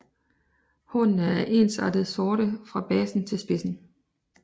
Hornene er ensartet sorte fra basen til spidsen